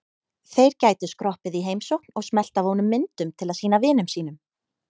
Þeir gætu skroppið í heimsókn og smellt af honum myndum til að sýna vinum sínum.